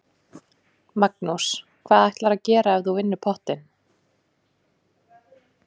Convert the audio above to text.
Magnús: Hvað ætlarðu að gera ef þú vinnur pottinn?